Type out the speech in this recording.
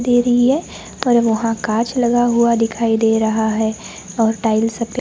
दे रही है और अब वहां कांच लगा हुआ दिखाई दे रहा है और टाइल्स --